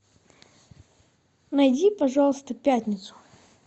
найди пожалуйста пятницу